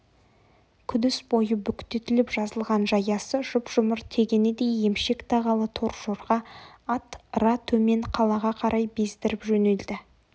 күдіс бойы бүктетіліп жазылған жаясы жұп-жұмыр тегенедей емшек тағалы торжорға ат ыра төмен қалаға қарай бездіріп жөнелді